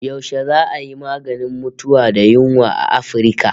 Yashe za'a yi maganin mutuwa da yunwa a Afirka?